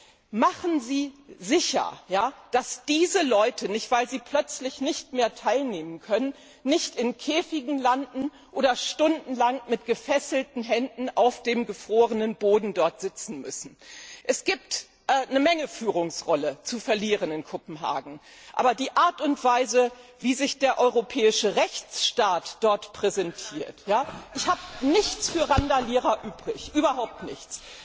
Stellen Sie sicher, dass diese Leute nicht, weil sie plötzlich nicht mehr teilnehmen können, in Käfigen landen oder stundenlang mit gefesselten Händen auf dem gefrorenen Boden dort sitzen müssen! Es gibt in Kopenhagen eine Menge Führungsrolle zu verlieren. Aber die Art und Weise, wie sich der europäische Rechtsstaat dort präsentiert ich habe nichts für Randalierer übrig, überhaupt nichts